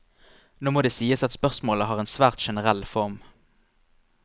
Nå må det sies at spørsmålene har en svært generell form.